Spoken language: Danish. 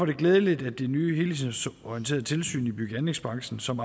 det glædeligt at det nye helhedsorienterede tilsyn i bygge og anlægsbranchen som